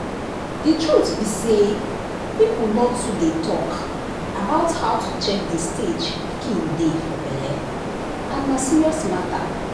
the truth be say people nor too dey talk about how to check the stage pikin dey for belle and na serious matter.